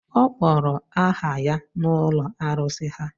Ọ kpọrọ aha ya n’ụlọ arụsị ha